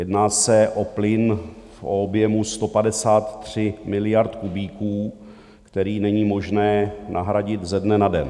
Jedná se o plyn v objemu 153 miliard kubíků, který není možné nahradit ze dne na den.